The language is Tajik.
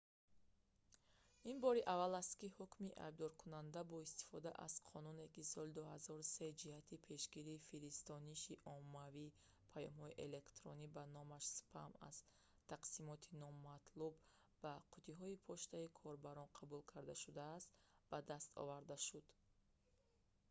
ин бори аввал аст ки ҳукми айбдоркунанда бо истифода аз қонуне ки соли 2003 ҷиҳати пешгирии фиристониши оммавии паёмҳои электронӣ ба номаш спам аз тақсимоти номатлуб ба қуттиҳои почтаи корбарон қабул карда шудааст ба даст оварда шуд